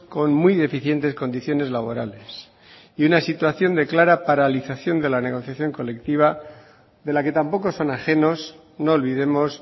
con muy deficientes condiciones laborales y una situación de clara paralización de la negociación colectiva de la que tampoco son ajenos no olvidemos